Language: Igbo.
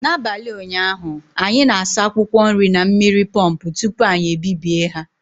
N'abalị ụnyaahụ, anyị na-asa akwụkwọ nri na mmiri pọmpụ tupu anyị ebibie ha